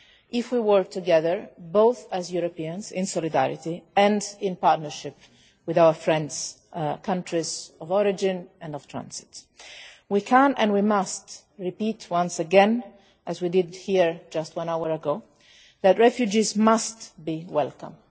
if we work together, both as Europeans in solidarity and in partnership with our friends, the countries of origin and of transit. We must repeat once again, as we did here just an hour ago, that refugees must be welcome.